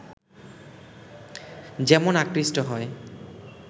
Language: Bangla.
যেমন আকৃষ্ট হয়